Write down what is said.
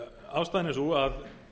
ástæðan er sú að